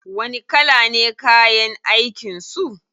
Wani kala ne kayan aikin su?